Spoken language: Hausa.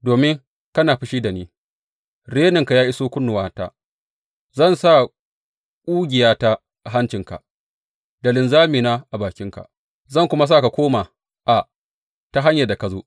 Domin kana fushi da ni reninka ya iso kunnuwata, zan sa ƙugiyata a hancinka da linzamina a bakinka, zan kuma sa ka koma a ta hanyar da ka zo.’